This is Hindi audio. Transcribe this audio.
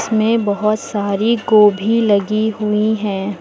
में बहुत सारी गोभी लगी हुई हैं।